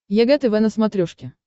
егэ тв на смотрешке